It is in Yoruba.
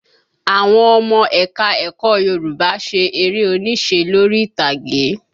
Àwọn ọmọ ẹ̀ka ẹ̀kọ́ Yorùbá ṣe eré onísẹ́ lórí ìtàgé